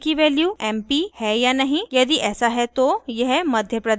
यदि ऐसा है तो यह madhya pradesh प्रिंट करेगा और ऐसा ही चलेगा